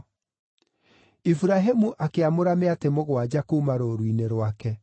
Iburahĩmu akĩamũra mĩatĩ mũgwanja kuuma rũũru-inĩ rwake.